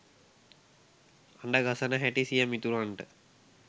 අඬ ගසන හැටි සිය මිතුරන්ට